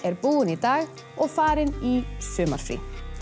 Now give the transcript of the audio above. búin í dag og farin í sumarfrí